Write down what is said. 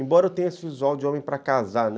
Embora eu tenha esse visual de homem para casar, né?